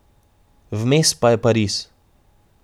Vmes pa je Pariz.